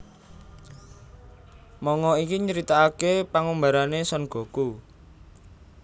Manga iki nyritakaké pangumbarané Son Goku